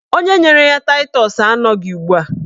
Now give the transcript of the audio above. Onye nyere ya taịtọs anọghị ugbua